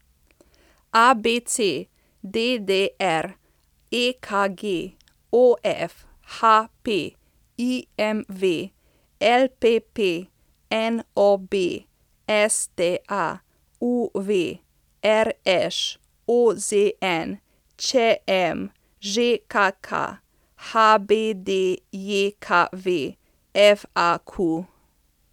ABC, DDR, EKG, OF, HP, IMV, LPP, NOB, STA, UV, RŠ, OZN, ČM, ŽKK, HBDJKV, FAQ.